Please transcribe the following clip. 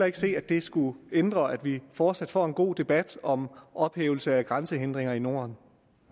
ikke se at det skulle ændre på at vi fortsat får en god debat om ophævelse af grænsehindringer i norden